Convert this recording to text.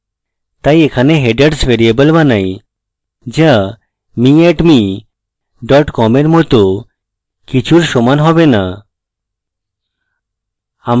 তাই এখানে headers variable বানাই so me @me com এর মত কিছুর সমান হবে so